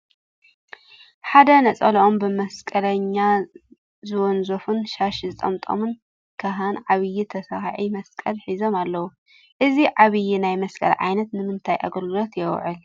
ሓደ ነፀልኦም ብመስቀለኛ ዘወንዘፉን ሻሽ ዝጠምጠሙን ካህን ዓብዪ ተሰካዒ መስቀል ሒዞም ኣለዉ፡፡ እዚ ዓብዪ ናይ መስቀል ዓይነት ንምንታይ ኣገልግሎት ይውዕል?